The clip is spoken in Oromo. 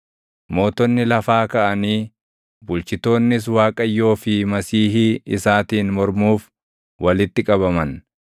Mootonni lafaa kaʼanii, bulchitoonnis Waaqayyoo fi Masiihii isaatiin mormuuf walitti qabaman;